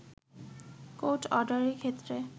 court অর্ডারের ক্ষেত্রে